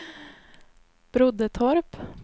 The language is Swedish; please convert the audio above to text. Broddetorp